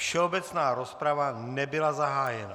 Všeobecná rozprava nebyla zahájena.